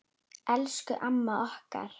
Elsku amma okkar.